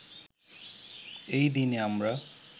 এই দিনে আমরা